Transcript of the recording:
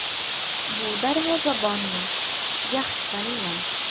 Bu darvozabonni yaxshi taniyman.